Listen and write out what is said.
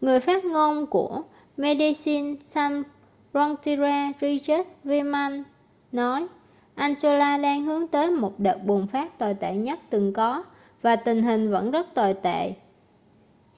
người phát ngôn của medecines sans frontiere richard veerman nói angola đang hướng tới một đợt bùng phát tồi tệ nhất từng có và tình hình vẫn rất tồi tệ